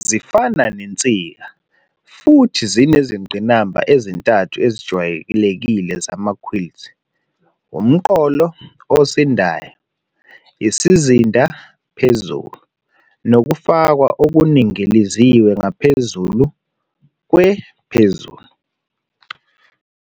Zifana nezinsika, futhi zinezingqimba ezintathu ezijwayelekile zama-quilts - "umqolo" osindayo, isizinda "phezulu", nokufakwa okuningiliziwe ngaphezulu kwe- "phezulu".